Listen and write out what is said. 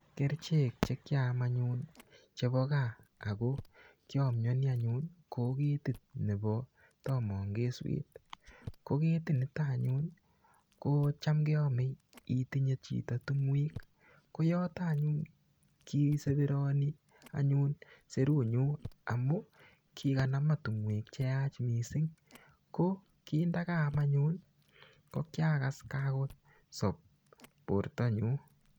Kerichek che kiaam anyun chebo gaa, ako kiamyani anyun, ko ketit nebo tamangeswet. Ko ketit niton anyun, kocham keame itinye chito tung'uek. Ko yotok anyun, kiseperani anyun serut nyu. Amu, kikanama tung'uek che yach missing. Ko ki ndakaam anyun, ko kiakas kakosob borto nyu.